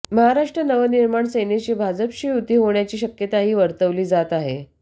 महाराष्ट्र नवनिर्माण सेनेशी भाजपची युती होण्याची शक्यताही वर्तवली जात आहे